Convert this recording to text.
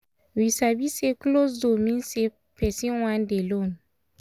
we sabi say closed door mean say person wan dey lone.